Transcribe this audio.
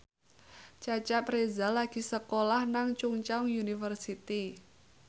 Cecep Reza lagi sekolah nang Chungceong University